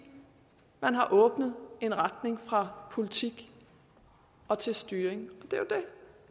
man har åbnet en retning fra politik og til styring